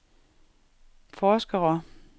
forskere